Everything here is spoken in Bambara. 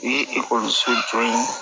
U ye ekɔliso jɔ yen